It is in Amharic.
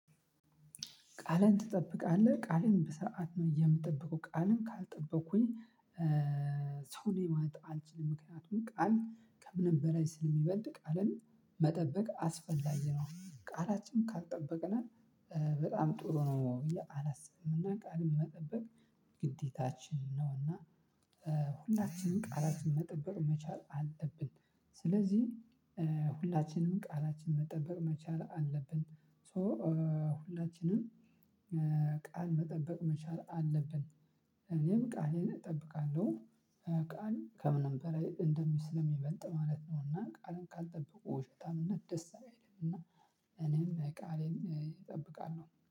ቃልህን ትጠብቃለህ? ቃሌን በስርዓት ነው የምጠብቀው። ቃሌን ካልጠበኩኝ ሰውን የማያውቅ አልችልም። ምክንያቱም ቃል ከምንም በላይ ስለሚበልጥ፤ ቃልን መጠበቅ አስፈላጊ ነው። ቃላችንን ካልጠበቅን በጣም ጥሩ ነው ብዬ አላስብም። እና ቃልም መጠበቅ ግዴታችን ነውና ሁላችንም ቃላትን መጠበቅ መቻል አለብን። ስለዚህ ሁላችንም ቃላችንን መጠበቅ መቻል አለብን። ሶ ሁላችንም ቃል መጠበቅ መቻል አለብን። እኔም ቃሌን እጠብቃለሁ። ቃል ከምንም በላይ እንደሚበልጥ ማለት ነው። እና ቃልን ካልጠበቁ ውሸታምነት ደስ አይልም። እና እኔም ቃሌን እጠብቃለሁ።